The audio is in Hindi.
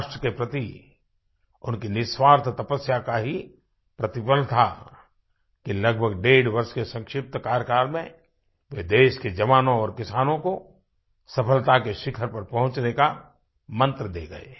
राष्ट्र के प्रति उनकी निस्वार्थ तपस्या का ही प्रतिफल था कि लगभग डेढ़ वर्ष के संक्षिप्त कार्यकाल में वे देश के जवानों और किसानों को सफलता के शिखर पर पहुँचने का मन्त्र दे गए